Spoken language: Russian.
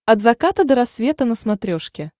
от заката до рассвета на смотрешке